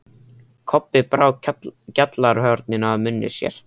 Kobbi brá gjallarhorninu að munni sér.